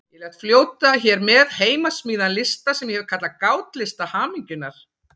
Ég læt fljóta hér með heimasmíðaðan lista sem ég hef kallað Gátlista hamingjunnar.